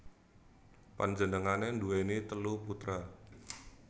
Panjenengané nduwèni telu putra